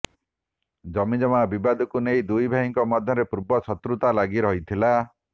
ଜମିଜମା ବିବାଦକୁ ନେଇ ଦୁଇଭାଇଙ୍କ ମଧ୍ୟରେ ପୂର୍ବ ଶତ୍ରୁତା ଲାଗି ରହିଥିଲା